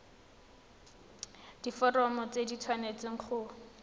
diforomo tse di tshwanesteng go